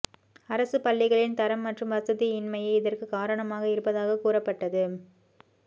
அரசு பள்ளிகளின் தரம் மற்றும் வசதி இன்மையே இதற்குக் காரணமாக இருப்பதாக கூறப்பட்டது